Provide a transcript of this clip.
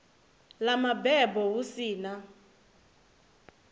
ḽa mabebo hu si na